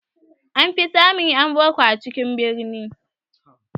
An fi samun ƴan boko a cikin birni